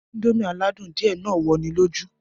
Indomie aládùn adìẹ náà wọ'ni lójú